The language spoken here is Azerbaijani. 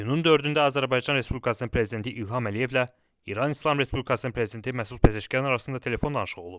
İyunun 4-də Azərbaycan Respublikasının Prezidenti İlham Əliyevlə İran İslam Respublikasının Prezidenti Məsud Pezeşkan arasında telefon danışığı olub.